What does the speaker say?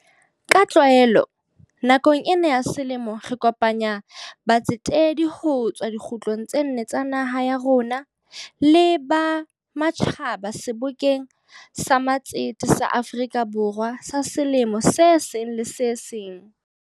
Ka tlwaelo, nakong ena ya selemo re kopanya batsetedi ho tswa dikgutlong tse nne tsa naha ya rona le ba ma tjhaba Sebokeng sa Matsete sa Afrika Borwa sa selemo se seng le se seng.